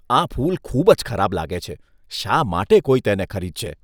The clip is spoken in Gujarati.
આ ફૂલ ખૂબ જ ખરાબ લાગે છે. શા માટે કોઈ તેને ખરીદશે?